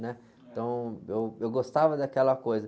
Né?.ntão, eu, eu gostava daquela coisa.